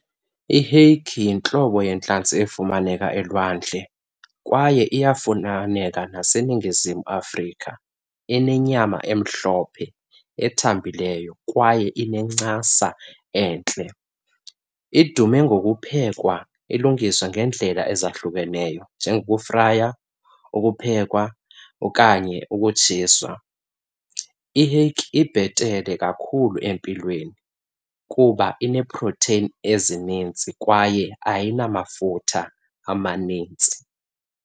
I-hake yintlobo yentlanzi efumaneka elwandle kwaye iyafumaneka naseNingizimu Afrika. Inenyama emhlophe, ethambileyo kwaye inencasa entle. Idume ngokuphekwa, ilungiswe ngeendlela ezahlukeneyo njengokufraya, ukuphekwa okanye ukutshiswa. I-hake ibhetele kakhulu empilweni kuba ineeprotheyini ezinintsi kwaye ayinamafutha amanintsi.